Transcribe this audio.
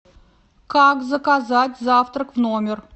как заказать завтрак в номер